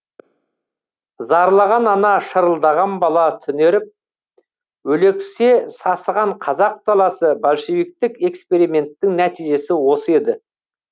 зарлаған ана шырылдаған бала түнеріп өлексе сасыған қазақ даласы большевиктік эксперименттің нәтижесі осы еді